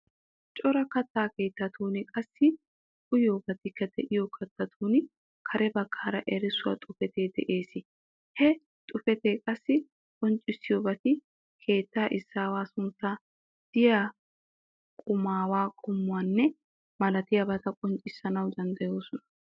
Cora katta keettatun qassi uyiyoobatikka de"iyoo keettatun kare baggaara erissuwaa xuufee de'ees. He xuufeti qassi qonccissiyoobati keettaa izaawaa sunttaa, diya qummuwaa qommuwanne malatiyaabata qonccissanawu danddayoosona.